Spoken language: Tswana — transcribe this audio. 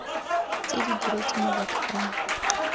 tse di diretsweng mabaka ano